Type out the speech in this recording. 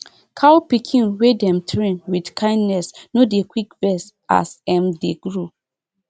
cow pikin wey dem train with kindness no dey quick vex as em dey grow